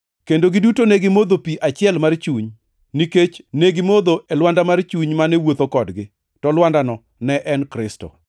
kendo giduto ne gimodho pi achiel mar chuny, nikech ne gimodho e lwanda mar chuny mane wuotho kodgi; to lwandano ne en Kristo.